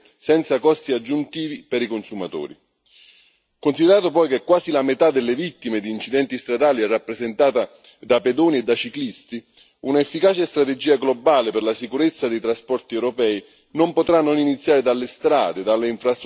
Considerato poi che quasi la metà delle vittime di incidenti stradali è rappresentata da pedoni e da ciclisti, un'efficace strategia globale per la sicurezza dei trasporti europei non potrà non iniziare dalle strade, dalle infrastrutture spesso obsolete, poco illuminate e pericolose.